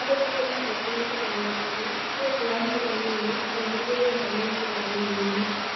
Arĩmi nĩ maahotire kũhanda tene nĩ ũndũ wa mbura nini tondũ mĩgũnda mĩingĩ yarĩ mĩũmũ.